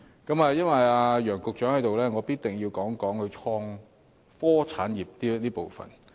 既然楊局長在席，我一定要談談創科產業這個部分。